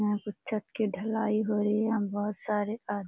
यहाँ पर छत की ढालाई हो रही है यहाँ बहुत सारे आद --